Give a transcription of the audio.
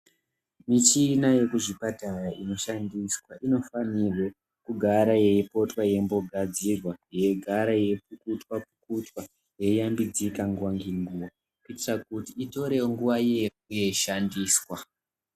Michina yekuzvipatara inoshandiswa inofanirwe kugara yeipotwa yeimbogadzirwa. Yeigara yeipukutwa-pukutwa yei yambidzika nguva ngenguva kuitira kuti itorevo nguva yeishandiswa.